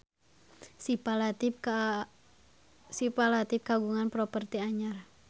Syifa Latief kagungan properti anyar